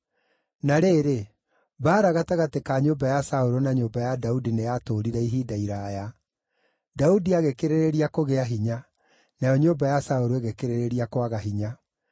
Na rĩrĩ, mbaara gatagatĩ ka nyũmba ya Saũlũ na nyũmba ya Daudi nĩyatũũrire ihinda iraaya. Daudi agĩkĩrĩrĩria kũgĩa hinya; nayo nyũmba ya Saũlũ ĩgĩkĩrĩrĩria kwaga hinya.